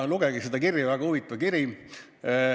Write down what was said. Lugege seda kirja, see on muuseas väga huvitav.